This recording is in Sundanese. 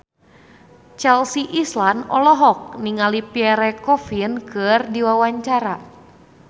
Chelsea Islan olohok ningali Pierre Coffin keur diwawancara